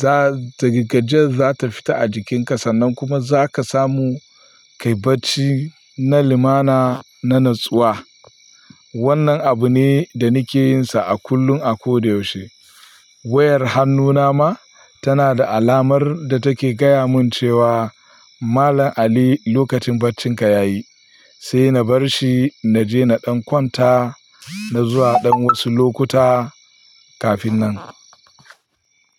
Za, ta gajiyar za ta fita a jikinka sannan kuma za ka samu kai bacci na limana, na natsuwa. Wannan abu ne da nake yin sa a kullum, a ko da yaushe. Wayar hannuna ma tana da alamar da take gaya min cewa Malan Ali lokacin baccinka yayi. Sai na bar shi na je na ɗan kwanta, na zuwa ɗan wasu lokuta kafin nan.